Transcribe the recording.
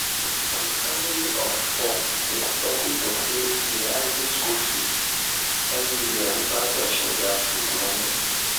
the family of four dey struggle to pay the rising school fees every year without touching their food money.